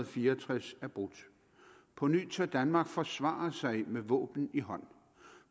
fire og tres er brudt på ny tør danmark forsvare sig med våben i hånd